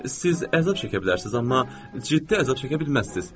Siz əzab çəkə bilərsiniz, amma ciddi əzab çəkə bilməzsiniz.